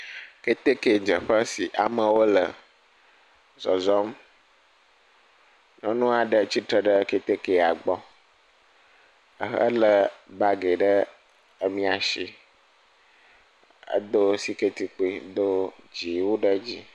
Ketekedzeƒe si amewo le zɔzɔm. Nyɔnu aɖe tsitre ɖe ketekea gbɔ ahe ele bagi ɖe emia si edo siketi kpui do dziwui ɖe edzi.